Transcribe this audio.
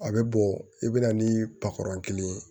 A bɛ bɔ i bɛ na ni patɔrɔn kelen ye